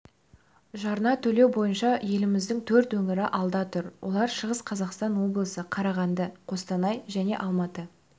жарна төлеу бойынша еліміздің төрт өңірі алда тұр олар шығыс қазақстан олысы қарағанды қостанай және алматы